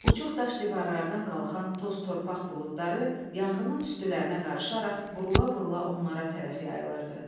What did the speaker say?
Uçuq daş divarlardan qalxan toz-torpaq buludları yanğının tüstülərinə qarışaraq, burula-burula onlara tərəf yayılırdı.